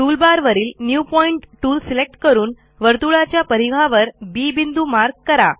टूलबारवरील new point tool select करून वर्तुळाच्या परिघावर बी बिंदू मार्क करा